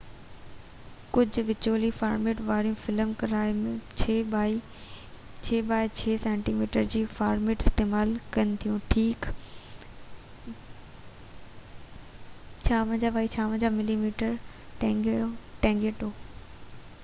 ڪجهہ وچولي فارميٽ واريون فلم ڪئميرائون 6 بائي 6 سينٽي ميٽر جو فارميٽ استعمال ڪن ٿيون ٺيڪ 56 بائي 56 ملي ميٽر نيگيٽو